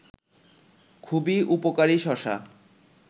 খুবই উপকারী শশা